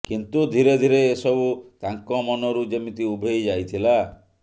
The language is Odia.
କିନ୍ତୁ ଧୀରେ ଧୀରେ ଏସବୁ ତାଙ୍କ ମନରୁ ଯେମିତି ଉଭେଇ ଯାଇଥିଲା